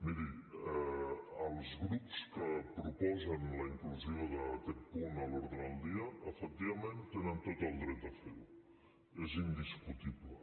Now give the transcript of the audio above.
miri els grups que proposen la inclusió d’aquest punt a l’ordre del dia efectivament tenen tot el dret de fer ho és indiscutible